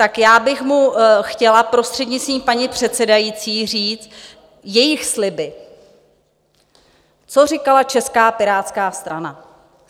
Tak já bych mu chtěla, prostřednictvím paní předsedající, říct - jejich sliby, co říkala Česká pirátská strana?